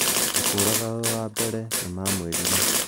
Ngũkũraga ũ wa mbere'nimamwìrire